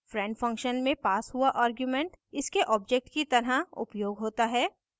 friend function में passed हुआ argument इसके object की तरह उपयोग होता है